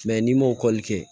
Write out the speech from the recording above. n'i ma kɛ